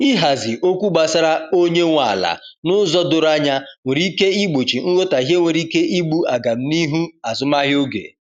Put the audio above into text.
ihazi okwu gbasara onye nwe ala n'ụzọ doro anya nwere ike igbochi nghotahie nwere ike igbú agam n'ihu azụmahịa oge